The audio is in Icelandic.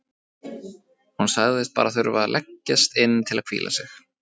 Hún sagðist bara þurfa að leggjast inn til að hvíla sig.